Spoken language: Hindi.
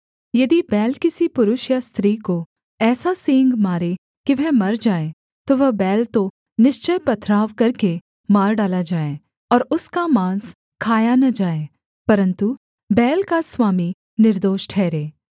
यदि बैल किसी पुरुष या स्त्री को ऐसा सींग मारे कि वह मर जाए तो वह बैल तो निश्चय पथरवाह करके मार डाला जाए और उसका माँस खाया न जाए परन्तु बैल का स्वामी निर्दोष ठहरे